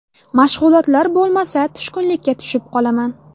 Mashg‘ulotlar bo‘lmasa, tushkunlikka tushib qolaman.